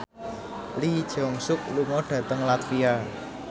Lee Jeong Suk lunga dhateng latvia